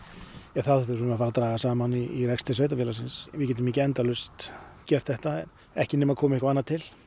þá þurfum við að fara að draga saman í rekstri sveitarfélagsins við getum ekki endalaust gert þetta ekki nema það komi eitthvað annað til